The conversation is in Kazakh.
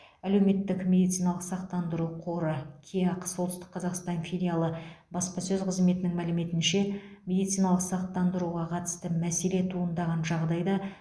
әлеуметтік медициналық сақтандыру қоры кеақ солтүстік қазақстан филиалы баспасөз қызметінің мәліметінше медициналық сақтандыруға қатысты мәселе туындаған жағдайда